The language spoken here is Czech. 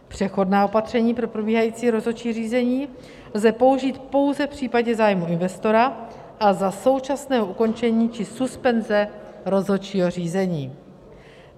Přechodná opatření pro probíhající rozhodčí řízení lze použít pouze v případě zájmu investora a za současného ukončení či suspenze rozhodčího řízení.